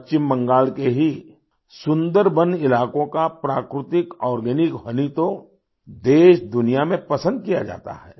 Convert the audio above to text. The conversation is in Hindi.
पश्चिम बंगाल के ही सुंदरबन इलाकों का प्राकृतिक आर्गेनिक होनी तो देश दुनिया में पसंद किया जाता है